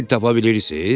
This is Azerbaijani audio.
Dil tapa bilirsiz?